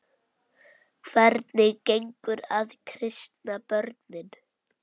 Hvernig gengur að kristna börnin?